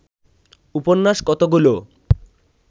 উপন্যাস কতগুলো